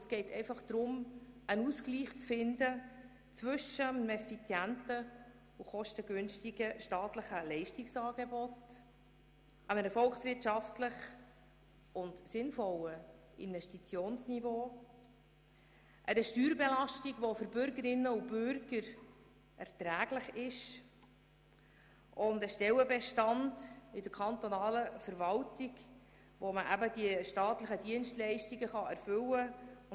Es geht darum, einen Ausgleich zu schaffen zwischen einem kostengünstigen staatlichen Leistungsangebot, einem volkswirtschaftlich sinnvollen Investitionsniveau, einer Steuerbelastung, die für Bürgerinnen und Bürger erträglich ist, und einem Stellenbestand in der kantonalen Verwaltung, der die staatlichen Dienstleistungen erfüllen kann.